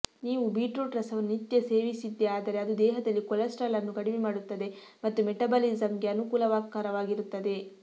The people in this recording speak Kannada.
ನೀವು ಬೀಟ್ರೂಟ್ ರಸವನ್ನು ನಿತ್ಯ ಸೇವಿಸಿದ್ದೆ ಆದರೆ ಅದು ದೇಹದಲ್ಲಿ ಕೊಲೆಸ್ಟರಾಲ್ ಅನ್ನು ಕಡಿಮೆ ಮಾಡುತ್ತದೆ ಮತ್ತು ಮೆಟಾಬಲಿಸಮ್ಗೆ ಅನುಕೂಲಕರವಾಗಿರುತ್ತದೆ